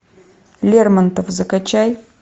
лермонтов закачай